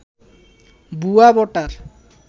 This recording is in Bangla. ভুয়া ভোটার